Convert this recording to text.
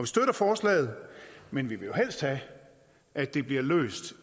støtter forslaget men vi vil jo helst have at det bliver løst